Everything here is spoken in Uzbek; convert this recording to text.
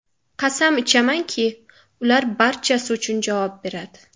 Qasam ichamanki, ular barchasi uchun javob beradi.